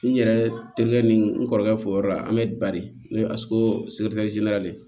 N yɛrɛ terikɛ ni n kɔrɔkɛ fo o yɔrɔ la an bɛ bari ne ye de